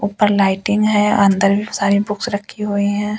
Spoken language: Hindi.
ऊपर लाइटिंग है। अंदर भी सारी बुक्स रखी हुई हैं।